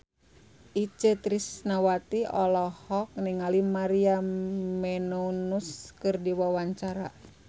Itje Tresnawati olohok ningali Maria Menounos keur diwawancara